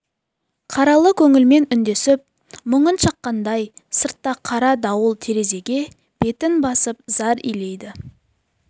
қаралы көңілмен үндесіп мұңын шаққандай сыртта қара дауыл терезеге бетін басып зар илейді